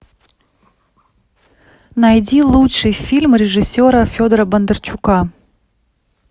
найди лучший фильм режиссера федора бондарчука